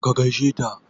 Ka gaishe ta?